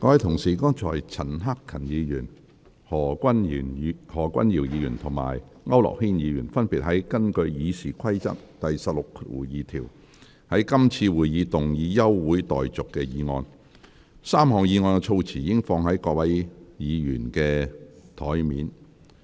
各位議員，剛才陳克勤議員、何君堯議員及區諾軒議員分別根據《議事規則》第162條，要求在今次會議動議休會待續議案 ，3 項議案的措辭已放在各位議員的桌上。